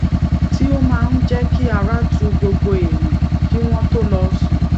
ti o máa ń jé kí ara tu gbogbo èèyàn kí wón tó lọ sùn